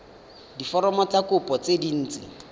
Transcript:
diforomo tsa kopo tse dint